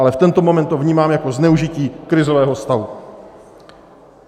Ale v tento moment to vnímám jako zneužití krizového stavu.